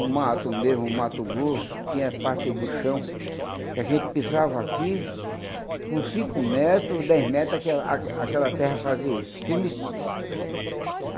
o mato mesmo, o mato grosso, tinha parte do chão, que a gente pisava aqui, com cinco metros, dez metros, aquela a aquela terra fazia isso, estremecia.